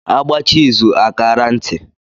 A gbachaa izù a kaara ntị.